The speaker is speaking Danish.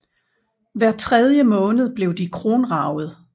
Hver tredje måned blev de kronraget